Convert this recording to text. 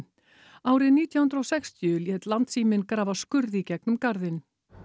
árið nítján hundruð og sextíu lét Landssíminn grafa skurð í gegnum garðinn